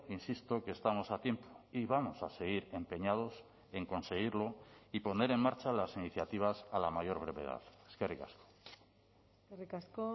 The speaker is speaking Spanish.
insisto que estamos a tiempo y vamos a seguir empeñados en conseguirlo y poner en marcha las iniciativas a la mayor brevedad eskerrik asko eskerrik asko